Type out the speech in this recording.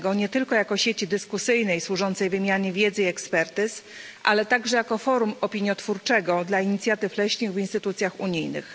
Leśnictwa, nie tylko jako sieci dyskusyjnej służącej wymianie wiedzy i ekspertyz, ale także jako forum opiniotwórczego dla inicjatyw leśnych w instytucjach unijnych.